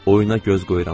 Oyuna göz qoyuram.